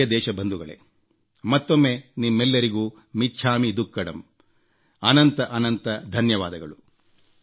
ನನ್ನ ಪ್ರಿಯ ದೇಶಬಂಧುಗಳೇ ಮತ್ತೊಮ್ಮೆ ನಿಮ್ಮೆಲ್ಲರಿಗೂ ಮಿಚ್ಛಾಮಿ ದುಕ್ಕಡಮ್ ಅನಂತ ಅನಂತ ಧನ್ಯವಾದಗಳು